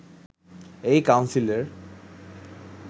এই কাউন্সিলের